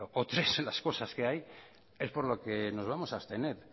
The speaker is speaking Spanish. o tres las cosas que hay es por lo que nos vamos a abstener